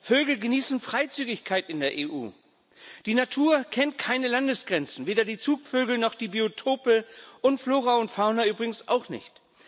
Vögel genießen Freizügigkeit in der EU. Die Natur kennt keine Landesgrenzen, weder die Zugvögel noch die Biotope und Flora und Fauna übrigens auch nicht.